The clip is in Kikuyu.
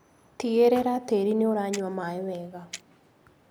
Tigĩrĩra tĩri nĩũranyua maĩ wega.